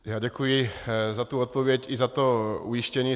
Já děkuji za tu odpověď i za to ujištění.